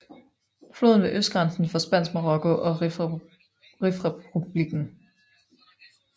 Floden var østgrænsen for Spansk Marokko og Rifrepublikken